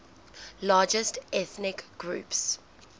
largest ethnic groups